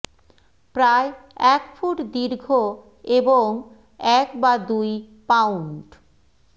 প্রায় এক ফুট দীর্ঘ এবং এক বা দুই পাউন্ড